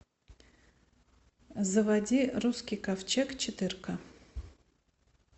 заводи русский ковчег четырка